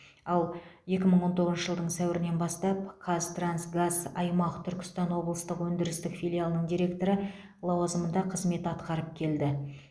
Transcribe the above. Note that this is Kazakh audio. ал екі мың он тоғызыншы жылдың сәуірінен бастап қазтрансгаз аймақ түркістан облыстық өндірістік филиалының директоры лауазымында қызмет атқарып келді